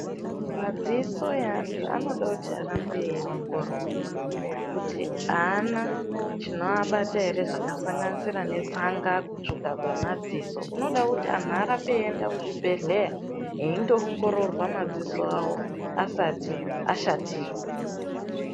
Madziso e antu anoda kuti arambe eyi ongororwa kuti ana chino abata ere zvaka sanganisira ne tsanga ku tsvuka kwe madziso tinodawo kuti anhu arambe eyi enda ku zvibhedhleya eindo ongororwa madziso awo asati ashatirwa.